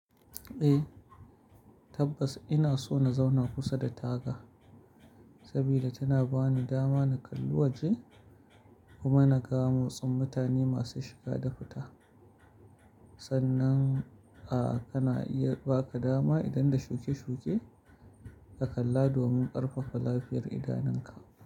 Eh, tabbas ina so na zauna kusa da taga saboda tana bani dama na kalli waje kuma na ga motsin mutane masu shiga da fita. Sannan, a kana iya baka dama idan da shuke shuke ka kalla domin ƙarfafa lafiyar idanunka.